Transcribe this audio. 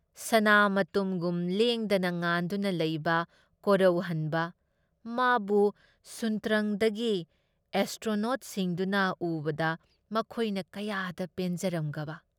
ꯁꯅꯥ ꯃꯇꯨꯝꯒꯨꯝ ꯂꯦꯡꯗꯅ ꯉꯥꯟꯗꯨꯅ ꯂꯩꯕ ꯀꯣꯔꯧꯍꯟꯕ, ꯃꯥꯕꯨ ꯁꯨꯟꯇꯔꯪꯗꯒꯤ ꯑꯦꯁꯇ꯭ꯔꯣꯅꯣꯠꯁꯤꯡꯗꯨꯅ ꯎꯕꯗ ꯃꯈꯣꯏꯅ ꯀꯌꯥꯗ ꯄꯦꯟꯖꯔꯝꯒꯕ !